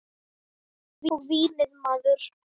Og vínið maður!